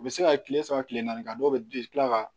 U bɛ se ka kile saba kile naani kɛ a dɔw bɛ tila ka